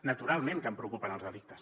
naturalment que em preocupen els delictes